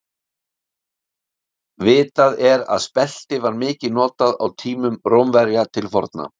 Vitað er að spelti var mikið notað á tímum Rómverja til forna.